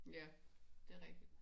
Ja. Det er rigtigt